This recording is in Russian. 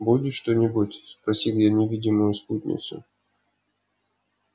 будешь что-нибудь спросил я невидимую спутницу